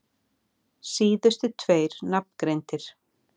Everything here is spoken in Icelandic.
Síðustu tveir nafngreindir